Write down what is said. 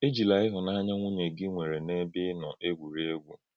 Èjìlá ịhụ́nànyà nwùnyè gị nwere n’ebe ị nọ egwúrì egwú.